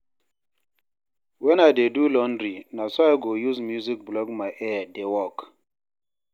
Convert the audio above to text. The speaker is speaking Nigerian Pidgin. wen I dey do laundry na so I go use music block my ear dey work